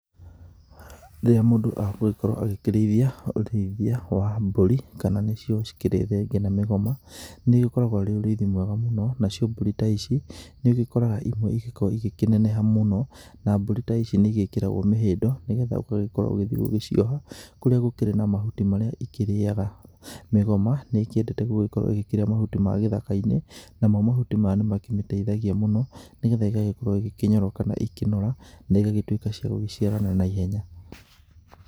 Rĩrĩra mũndũ agũgĩkorwo akĩrĩithia ũrĩithia wa mbũri kana nĩ cio cikĩrĩ thenge na mĩgoma. Nĩ ũgĩkoragwo ũrĩ ũrĩithi mwega mũno nacio mbũri ta ici nĩ igĩkoragwo rĩmwe igĩkĩneneha mũno. Na mbũri ta ici nĩ igĩkĩragwo mĩhĩndo nĩ getha ũgathiĩ ũgacioha kũrĩa gũkĩrĩ na mahuti marĩa ikĩrĩraga. Mĩgoma nĩ ĩkĩendete gũkorwo ĩkĩrĩa mahuti ma gĩthaka-inĩ, namo mahuti maya nĩ makĩmĩteithagia mũno. Nĩ getha ĩgagĩkorwo ĩgĩkĩnyoroka na ĩkanora na igagĩtuĩka cia gũgĩciarana na ihenya.